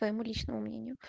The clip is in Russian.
по ему личному мнению